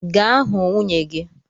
Gaa hụ nwunye gị!